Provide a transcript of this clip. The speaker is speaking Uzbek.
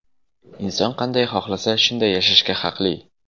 Inson qanday xohlasa, shunday yashashga haqli.